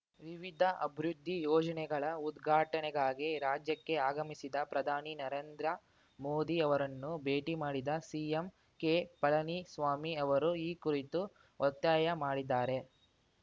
ವಿವಿಧ ಅಬೃದ್ಧಿ ಯೋಜನೆಗಳ ಉದ್ಘಾಟನೆಗಾಗಿ ರಾಜ್ಯಕ್ಕೆ ಆಗಮಿಸಿದ ಪ್ರಧಾನಿ ನರೇಂದ್ರ ಮೋದಿ ಅವರನ್ನು ಭೇಟಿ ಮಾಡಿದ ಸಿಎಂ ಕೆಪಳನಿಸ್ವಾಮಿ ಅವರು ಈ ಕುರಿತು ಒತ್ತಾಯ ಮಾಡಿದ್ದಾರೆ